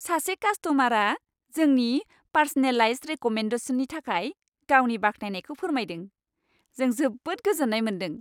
सासे कास्ट'मारआ जोंनि पार्स'नेलाइज्ड रेक'मेन्डेसननि थाखाय गावनि बाख्नायनायखौ फोरमायदों, जों जोबोद गोजोन्नाय मोनदों।